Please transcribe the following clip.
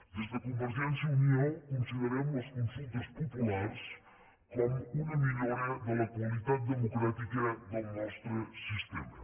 des de convergència i unió considerem les consultes populars com una millora de la qualitat democràtica del nostre sistema